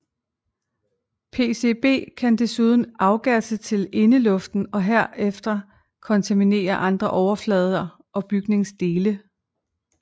PCB kan desuden afgasse til indeluften og herfra kontaminere andre overflader og bygningsdele